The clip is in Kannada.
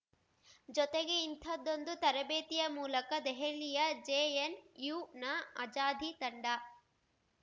ಜೊತೆಗೆ ಇಂಥದ್ದೊಂದು ತರಬೇತಿಯ ಮೂಲಕ ದೆಹಲಿಯ ಜೆಎನ್‌ಯುನ ಆಜಾದಿ ತಂಡ